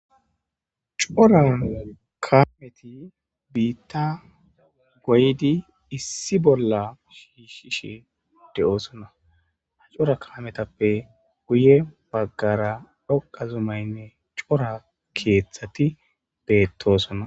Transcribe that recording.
Cora kaameti biitta goyidi issi bolla shiishshishe de'osonna; ha cora kaametappe guye bagaara dhoqqa zumaynne cora keeththati beetosona.